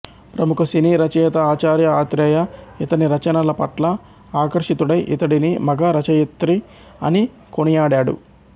ప్రముఖ సినీ రచయిత ఆచార్య ఆత్రేయ ఇతని రచనల పట్ల ఆకర్షితుడై ఇతడిని మగ రచయిత్రి అని కొనియాడాడు